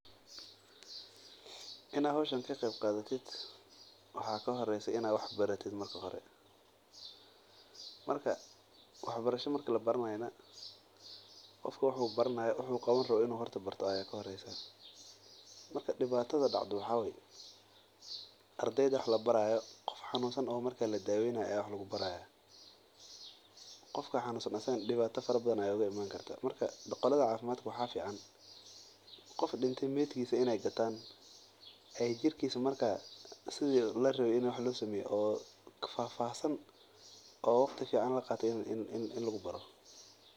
Inaad howshan ka qeeb qadato waxaa ka horeysa inaad barato horta qofka wuxuu qaban rabo inuu barto waye ardeyda qof xanunsan ayaa wax lagu baraa qodki dib ayaa oga imanaya asagana marka waxaa fican inaay meed gataan oo si fahfahsan wax loogu baro.